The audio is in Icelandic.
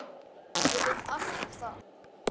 Ég veit allt um það.